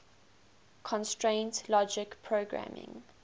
constraint logic programming